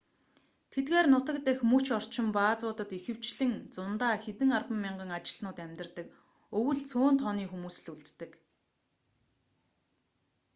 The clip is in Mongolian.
тэдгээр нутаг дахь дөч орчим баазуудад ихэвчлэн зундаа хэдэн арван мянган ажилтнууд амьдардаг өвөл цөөн тооны хүмүүс л үлддэг